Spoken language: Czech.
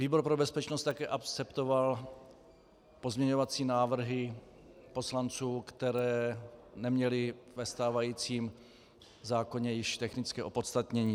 Výbor pro bezpečnost také akceptoval pozměňovací návrhy poslanců, které neměly ve stávajícím zákoně již technické opodstatnění.